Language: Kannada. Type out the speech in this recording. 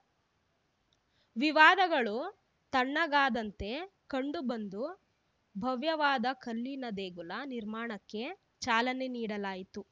ವಿವಾದಗಳು ತಣ್ಣಗಾದಂತೆ ಕಂಡುಬಂದು ಭವ್ಯವಾದ ಕಲ್ಲಿನ ದೇಗುಲ ನಿರ್ಮಾಣಕ್ಕೆ ಚಾಲನೆ ನೀಡಲಾಯಿತು